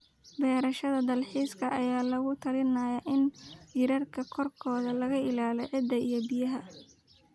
beerashada dalxiiska ayaa lagula talinayaa in jiirarka korkooda la ilaaliyo ciidda iyo biyaha.